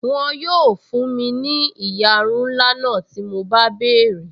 Wọn yóò fún mi ní ìyarun ńlá náà tí mo bá béèrè